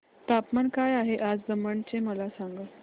तापमान काय आहे आज दमण चे मला सांगा